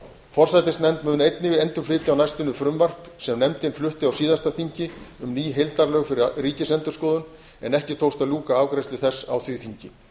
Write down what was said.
forsætisnefnd mun einnig endurflytja á næstunni frumvarp sem nefndin flutti á síðasta þingi um ný heildarlög fyrir ríkisendurskoðun en ekki tókst að ljúka afgreiðslu þess á því þingi